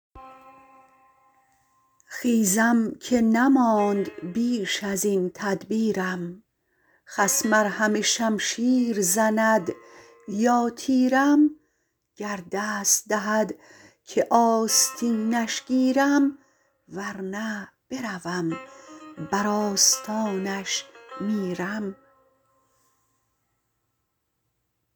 خیزم که نماند بیش ازین تدبیرم خصم ار همه شمشیر زند یا تیرم گر دست دهد که آستینش گیرم ورنه بروم بر آستانش میرم